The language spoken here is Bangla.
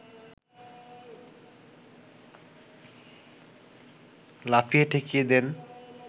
লাফিয়ে ঠেকিয়ে দেন